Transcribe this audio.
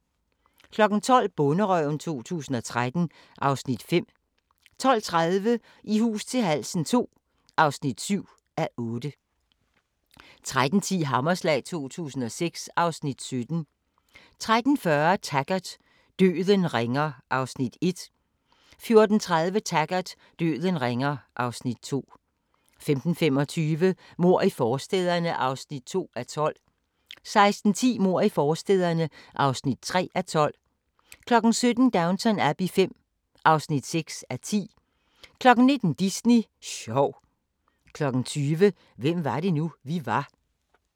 12:00: Bonderøven 2013 (Afs. 5) 12:30: I hus til halsen II (7:8) 13:10: Hammerslag 2006 (Afs. 17) 13:40: Taggart: Døden ringer (Afs. 1) 14:30: Taggart: Døden ringer (Afs. 2) 15:25: Mord i forstæderne (2:12) 16:10: Mord i forstæderne (3:12) 17:00: Downton Abbey V (6:10) 19:00: Disney sjov 20:00: Hvem var det nu, vi var?